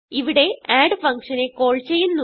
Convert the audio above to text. ഇവിടെ add function നെ call ചെയ്യുന്നു